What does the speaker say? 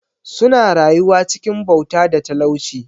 Suna rayuwa cikin bauta da talauci.